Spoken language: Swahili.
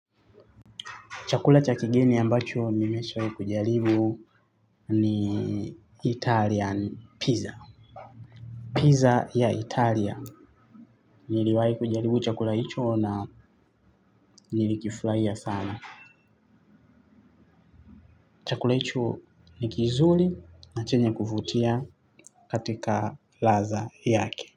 Chakula chakigini ambacho nimesha jaribu ni Italian pizza. Pizza ya Italia. Niliwai kujaribu chakula hicho na nilikifurahia sana. Chakula hicho nikizuri na chenye kuvutia katika laza yake.